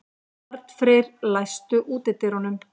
Arnfreyr, læstu útidyrunum.